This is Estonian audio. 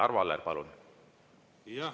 Arvo Aller, palun!